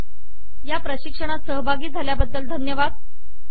या प्रशिक्षणात सहभागी झाल्याबद्दल मी तुम्हाला धन्यवाद देते